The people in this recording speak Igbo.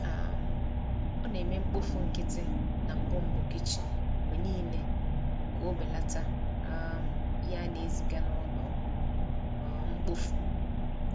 um O na-eme mkpofu nkịtị na mbumbu kichin mgbe niile ka o belata um ihe a na-eziga n’ụlọ um mkpofu.